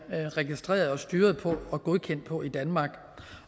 registreret og styret på og bliver godkendt på i danmark